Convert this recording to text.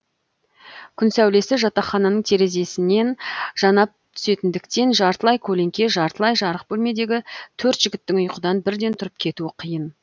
күн сәулесі жатақхананың терезесінен жанап түсетіндіктен жартылай көлеңке жартылай жарық бөлмедегі төрт жігіттің ұйқыдан бірден тұрып кетуі қиын